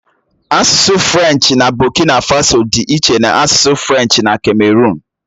Asụsụ Frenchi na Bokina Faso dị iche na asụsụ Frenchi na kameruụn.